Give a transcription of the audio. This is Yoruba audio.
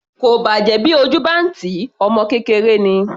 Kò bàjẹ́ bí ojú bá ń tì í, ọmọ kékeré ni.